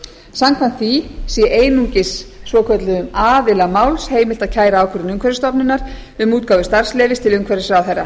samkvæmt því sé einungis svokölluðum aðila máls heimilt að kæra ákvörðun umhverfisstofnunar um útgáfu starfsleyfis til umhverfisráðherra